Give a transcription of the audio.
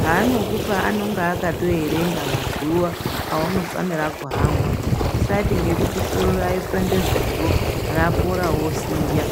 Paanokupa anonga akatoerenga mazuwa aunofanira kuamwa, usati ngekuti soro raipanda zuro rapora wosiya.